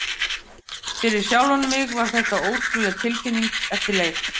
Fyrir sjálfan mig var þetta ótrúleg tilfinning eftir leik.